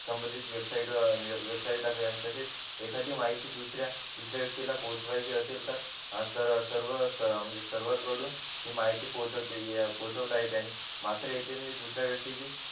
संबंधित वेबसाईट टाकूया आणि तसेच एखादी माहिती दुसरा त्या व्यक्तीला पोचवायचे असेल तर तर सर्व सर्वर कडून ही माहिती पोहोचवते पोचवता येते आणि म्हणजे दुसऱ्या व्यक्तीची